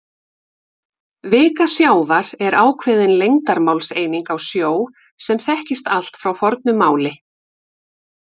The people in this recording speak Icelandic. Vika sjávar er ákveðin lengdarmálseining á sjó sem þekkist allt frá fornu máli.